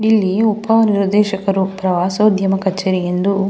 ಇಲ್ಲಿ ಉಪ ನಿರ್ದೇಶಕರು ಪ್ರವಾಸೋದ್ಯಮ ಕಚೇರಿ ಎಂದು--